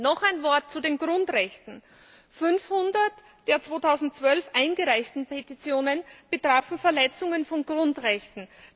Noch ein Wort zu den Grundrechten 500 der 2012 eingereichten Petitionen betrafen Verletzungen von Grundrechten.